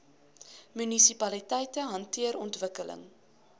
munisipaliteite hanteer ontwikkeling